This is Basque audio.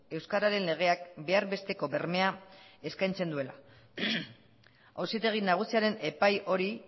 euskararen legeak behar besteko bermea eskaintzen duela auzitegi nagusiaren epai hori